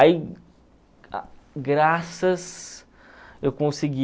Aí, graças, eu consegui...